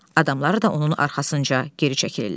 adamları da onun arxasınca geri çəkilirlər.